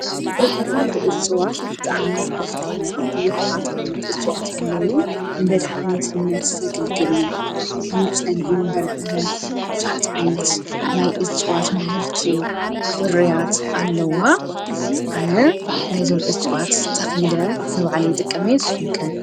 ብዶይናየስኹምከት ብጥዕሚ ሃፍታ እምያ ብዙኃት ዓይነት እጽዋት ኣለዉ ንመድኃኒትነት ዘግልግሉ ከም ጸሊም በርበረ ብዙኃት ዓይነት ናይ እጽዋት ምህርቲ ፍርያት ኣለዋ ኣነ ናይዞም እጽዋት ተኺለ ነብዓለይ ጥቀመ የስኹምከ።